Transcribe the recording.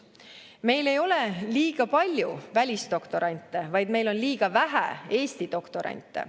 Meil ei ole liiga palju välisdoktorante, vaid meil on liiga vähe Eesti doktorante.